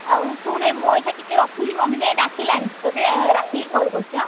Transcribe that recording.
ଆଉ ଶୁଣେ ମୁଁ ଅଇଖା ଟିକେ ରଖୁଛି ମମି କାଇଁ ଡାକିଲାନି ଟଟେ ରାତିକି call କରୁଛି ହାଁ।